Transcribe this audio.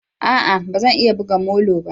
A'a! Ba zan iya buga molo ba.